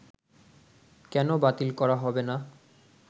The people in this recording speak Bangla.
কেন বাতিল করা হবেনা